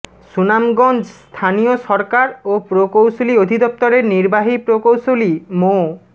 সুনামগঞ্জ স্থানীয় সরকার ও প্রকৌশল অধিদপ্তরের নির্বাহী প্রকৌশলী মো